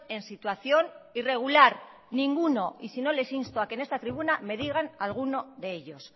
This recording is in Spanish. en situación irregular ninguno y si no les insto a que en esta tribuna me digan alguno de ellos